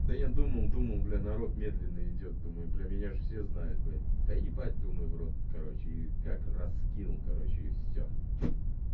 да я думал думал бля народ медленно идёт думаю бля меня же все знают блять да ебать думай в рот короче и как раз скинул короче и всё